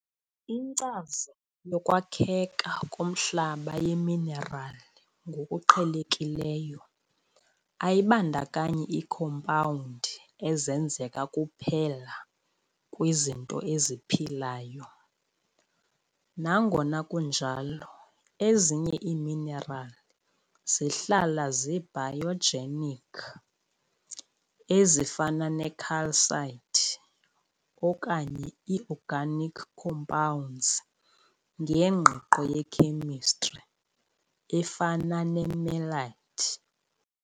Inkcazo yokwakheka komhlaba yeminerali ngokuqhelekileyo ayibandakanyi iikhompawundi ezenzeka kuphela kwizinto eziphilayo. Nangona kunjalo, ezinye iiminerali zihlala zi-biogenic ezifana ne-calcite okanye i-organic compounds ngengqiqo ye-chemistry efana ne-melite.